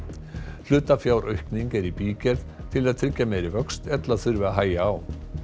hlutafjáraukning er í bígerð til að tryggja meiri vöxt ella þurfi að hægja á